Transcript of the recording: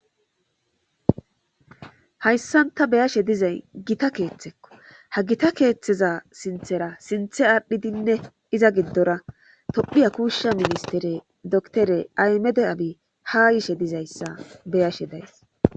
Hayssanta beyashe dizay gita keeththekko ha gita keeththeza sinthera sinthe aadhdhidinne iza gindora tophiya kuushsha ministere dotere aymede abi ha yishe dizayssa beyashe days.